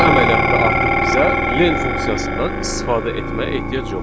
Bu əməliyyatda artıq bizə len funksiyasından istifadə etməyə ehtiyac yoxdur.